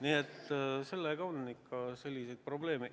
Nii et sellega on probleeme.